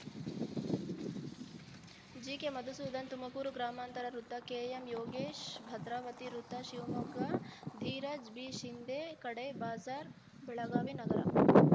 ಜಿಕೆಮಧುಸೂದನ್‌ ತುಮಕೂರು ಗ್ರಾಮಾಂತರ ವೃತ್ತ ಕೆಎಂಯೋಗೇಶ್‌ ಭದ್ರಾವತಿ ವೃತ್ತ ಶಿವಮೊಗ್ಗ ಧೀರಜ್‌ ಬಿಶಿಂಧೆ ಖಡೆ ಬಜಾರ್‌ ಬೆಳಗಾವಿ ನಗರ